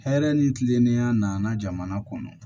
Hɛrɛ ni kilennenya nana jamana kɔnɔ